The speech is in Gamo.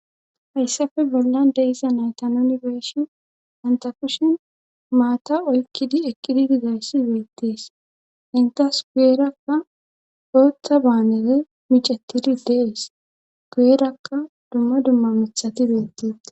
hayssafe bollan deisa naytan nuni be7shi anta kushin maata oykkidi ekqidi dizayssi beettees intas guerakka ooththa baanere micettidi dees guerakka dumma dumma mithati beettee